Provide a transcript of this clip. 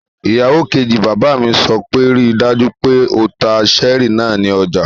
Ìyàwó kejì bàbá mi sọ pé 'ríi dájú pé o ta cherry náà ní ọjà!